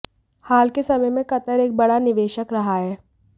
हाल के समय में कतर एक बड़ा निवेशक रहा है